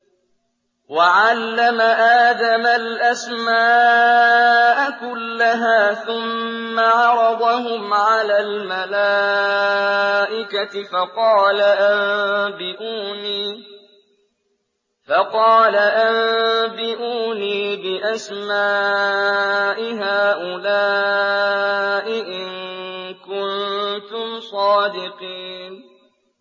وَعَلَّمَ آدَمَ الْأَسْمَاءَ كُلَّهَا ثُمَّ عَرَضَهُمْ عَلَى الْمَلَائِكَةِ فَقَالَ أَنبِئُونِي بِأَسْمَاءِ هَٰؤُلَاءِ إِن كُنتُمْ صَادِقِينَ